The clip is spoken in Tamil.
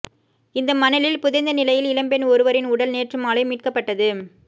இந்த மணலில் புதைந்த நிலையில் இளம்பெண் ஒருவரின் உடல் நேற்று மாலை மீட்கப்பட்டது